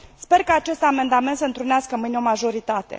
Sper ca acest amendament să întrunească mâine o majoritate.